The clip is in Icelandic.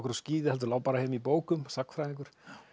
á skíði heldur lá heima í bókum sagnfræðingur